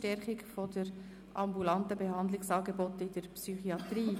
Stärkung der ambulanten Behandlungsangebote in der Psychiatrie».